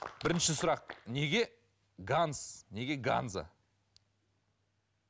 бірінші сұрақ неге ганс неге ганза